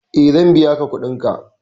E, zan biya ka kuɗinka.